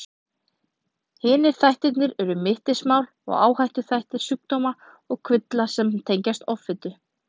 Hinir þættirnir eru mittismál og áhættuþættir sjúkdóma og kvilla sem tengjast offitu.